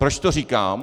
Proč to říkám?